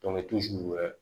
wɛrɛ